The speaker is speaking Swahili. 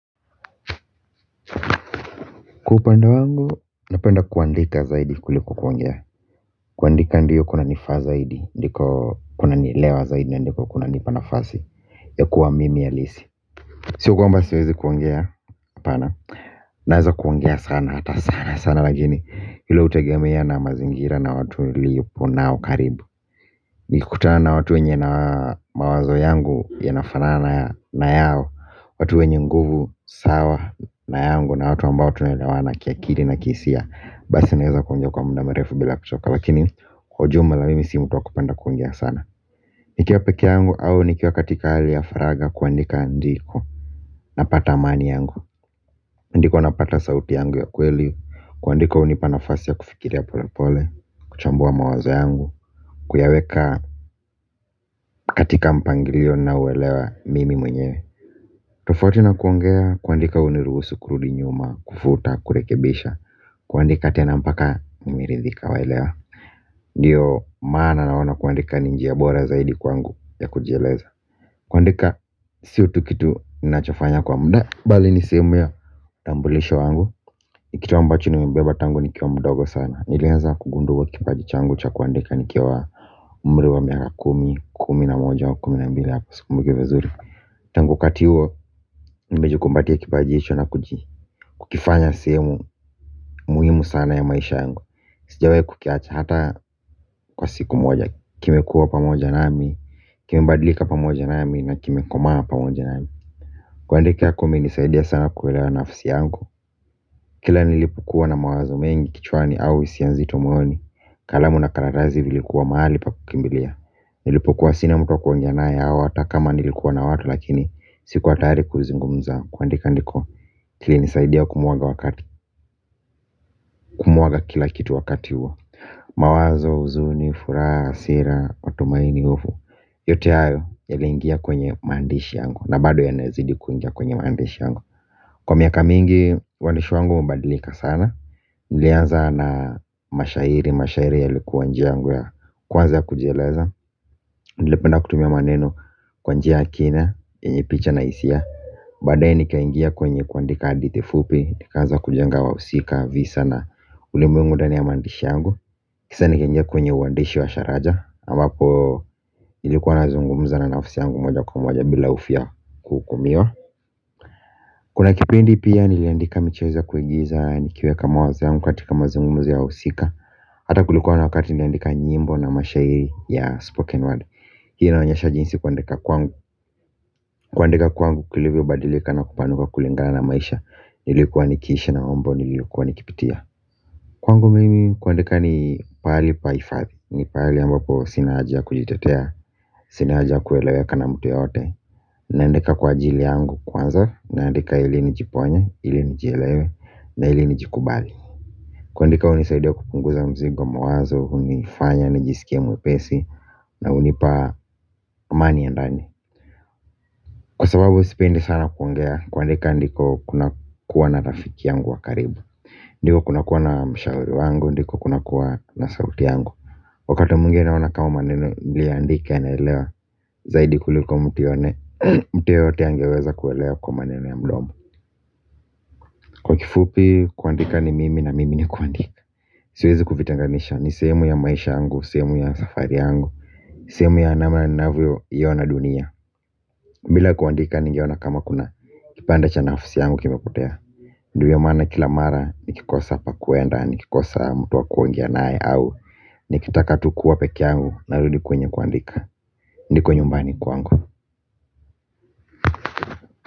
Kwa upande wangu napenda kuandika zaidi kuliko kuongea kuandika ndio kuna nifaa zaidi ndiko kuna nilewa zaidi ndiko kuna nipanafasi ya kuwa mimi alisi sio kwamba siwezi kuongea hapana naweza kuongea sana hata sana sana lakini hilo utegemea na mazingira na watu liyupo nao karibu. Nikutana na watu wenye na mawazo yangu ya nafanana na yao. Watu wenye nguvu sawa na yangu na watu ambao tunelawana kiakili na kii hisia. Basi naweza kuongea kwa mda mrefu bila kuchoka. Lakini kwa ujmla mimi si mtu wa kupenda kuongea sana. Nikiwa peke yangu au nikiea katika hali ya faraga kuandika ndiko napata amani yangu. Ndiko napata sauti yangu ya kweli. Kuandika unipanafasi ya kufikiri ya pole pole. Kuchambua mawazo yangu. Kuyaweka katika mpangilio na uwelewa mimi mwenyewe. Tofauti na kuongea kuandika uniruhusu kurudi nyuma kufuta kurekebesha. Kuandika tenampaka nimeridhika waelewa. Ndiyo maana naona kuandika ninjia bora zaidi kwa ngu ya kujieleza. Kuandika siotu kitu ninachofanya kwa mda bali nisehemu ya tambulisho wangu. Nikitu ambacho nimebeba tangu nikiwa mdogo sana. Nilianza kugunduwa kipajicha angu cha kuandika nikiwa umriwa miaka kumi, kumi na moja wa kumi na mbili hapa siku mbukivizuri. Tangu wakati huo nimejikumbatia kipaji hicho na kukifanya sehemu muhimu sana ya maisha yangu. Sijawai kukiacha hata kwa siku moja. Kimekua pa moja nami, kimebadlika pa moja nami na kimi komaa pa moja nami. Kuandika kume nisaidia sana kuwelewa nafisi yangu. Kila nilipokuwa na mawazo mengi kichwani au isianzi tomoyoni. Kalamu na karatazi vilikuwa mahali pa kukimbilia. Nilipokuwa sina mtuwa kuongeana ye au ata kama nilikuwa na watu lakini sikuwa tayari kuzungumza kuandika ndiko kili nisaidia kumwaga wakati kumwaga kila kitu wakati huo. Mawazo, uzuni, furaha, hasira, matumaini ufu. Yote ayo ya lingia kwenye maandishi yangu na bado ya nazidi kuingia kwenye maandishi yangu. Kwa miaka mingi, uandishi wangu umebadilika sana nilianza na mashairi, mashairi ya likuwa njia yangu ya kwanza kujieleza, nilipenda kutumia maneno kwanjia akina, yenye picha na isia. Badae nika ingia kwenye kuandika hadithu fupi, nikaanza kujenga wa usika, visa na ulimwengu ndani ya mandishi yangu. Kisa nika ingia kwenye uwandishi wa sharaja, ambapo nilikuwa na zungumuza na nafisi yangu moja kwa moja bila hofu ya kukumiwa. Kuna kipindi pia niliandika michezo ya kuigiza, nikiweka mawazo yangu katika mazungumzo ya wausika. Hata kulikuwa na wakati niliandika nyimbo na mashahiri ya spoken word. Hii inaonyesha jinsi kuandika kuangu. Kuandika kwangu kulivyo badilika na kupanuka kulingala na maisha. Nilikuwa nikishi na mambo niliyokuwa nikipitia. Kwangu mimi kuandika ni pahali paifadhi. Ni pahali ambapo sina haja kujitetea. Sinaajia kueleweka na mtu yeyote. Naandika kwa ajili yangu kwanza. Naandika ili nijiponye, ili nijielewe na ili nijikubali. Kuandika unisaidia kupunguza mzigo mawazo. Unifanya, nijisikie mwepesi. Na unipa amani ya ndani. Kwa sababu sipendi sana kuongea, kuandika ndiko kuna kuwa na rafiki yangu wa karibu. Ndiko kuna kuwa na mshauri wangu, ndiko kuna kuwa na sauti yangu. Wakati mwingine inaona kama maneno niliyoandika ya naelewa zaidi kuliko mtu yone, mtu yeyote angeweza kuwelewa kwa maneno ya mdomo. Kwa kifupi, kuandika ni mimi na mimi ni kuandika. Siwezi kuvitenganisha, ni sehemu ya maisha yangu, sehemu ya safari yangu. Sehemu ya anama na navio yona dunia. Mbila kuandika nigeona kama kuna, kipande cha nafisi yangu kime kotea. Ndiwia mana kila mara, nikikosa hapa kuenda, nikikosa mtuwa kuongea nae au nikitaka tukuwa peke yangu, narudi kwenye kuandika. Ndiko nyumbani kuangu.